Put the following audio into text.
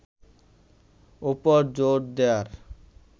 ওপর জোর দেয়ার